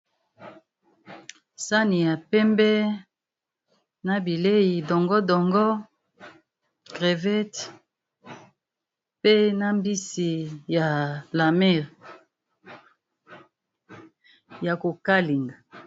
Sani ya pembe na bileyi dongo dongo, crevette, pe na mbisi ya la mer ya ko kalinga.